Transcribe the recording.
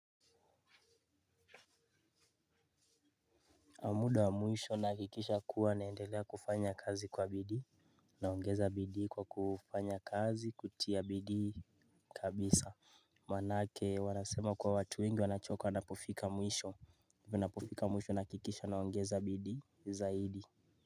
Kwa muda wa mwisho nakikisha kuwa naendelea kufanya kazi kwa bidii, naongeza bidii kwa kufanya kazi kutia bidii kabisa. Maana yake wanasema kwa watu wengi wanachoka wanapofika mwisho. Mimi napofika mwisho nahakikisha naongeza bidii zaidi.